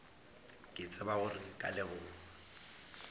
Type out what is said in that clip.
ke tsebe gore nka leboga